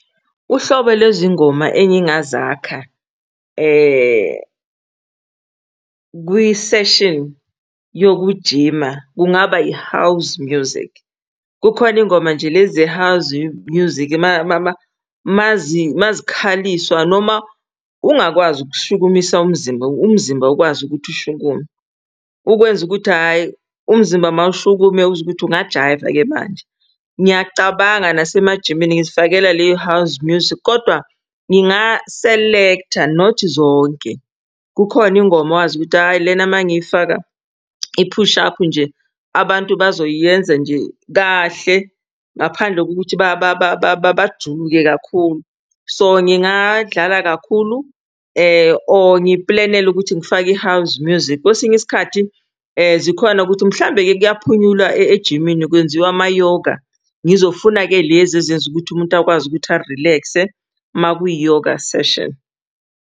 Uhlobo lezingoma engingazakha kwiseshini yokujima kungaba i-house music. Kukhona ingoma nje lezi ze-house music uma uma zikhaliswa noma ungakwazi ukushukumisa umzimba, umzimba ukwazi ukuthi ushukume. Ukwenza ukuthi hhayi umzimba mawushukume uzwe ukuthi ungajayiva-ke manje. Ngiyacabanga nasemajimini ngizifakela leyo house music kodwa ngingaselektha not zonke. Kukhona ingoma wazi ukuthi hhayi lena uma ngiyifaka i-push up nje abantu bazoyenza nje kahle ngaphandle kokuthi bajuluke kakhulu. So ngingadlala kakhulu or ngiplenele ukuthi ngifake i-house music. Kwesinye isikhathi zikhona ukuthi mhlawumbe-ke kuyaphunyulwa ejimini kwenziwa ama-yoga. Ngizofuna-ke lezi ezenza ukuthi umuntu akwazi ukuthi a-relax-e uma kwi-yoga session.